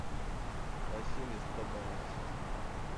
василий сто баланс